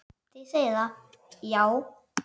Þið segið það, já.